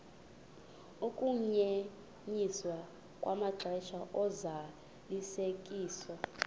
ukunyenyiswa kwamaxesha ozalisekiso